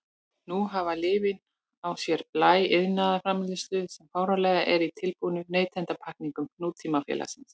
Nú hafa lyfin á sér blæ iðnaðarframleiðslu sem fáanleg er í tilbúnum neytendapakkningum nútímasamfélags.